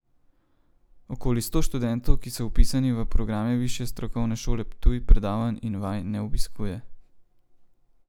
Okoli sto študentov, ki so vpisani v programe Višje strokovne šole Ptuj, predavanj in vaj ne obiskuje.